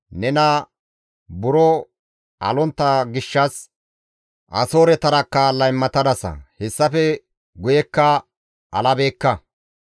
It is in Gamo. Nena buro alontta gishshas Asooretarakka laymatadasa; hessafe guyekka alabeekka.